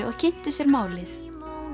og kynntu sér málið